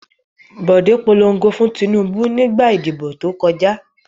Bòdé polongo fún Tinúbú nígbà ìdìbò tó kọjá.